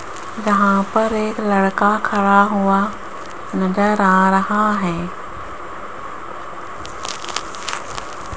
यहां पर एक लड़का खड़ा हुआ नजर आ रहा है।